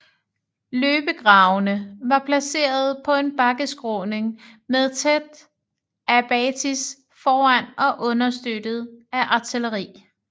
Løbegravene var placeret på en bakkeskråning med tæt abatis foran og understøttet af artilleri